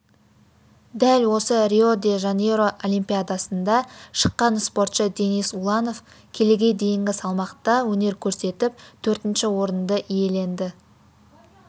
дәл осы рио-де-жанейро олимпиадасында шыққан спортшы денис уланов келіге дейінгі салмақта өнер көрсетіп төртінші орынды иеленді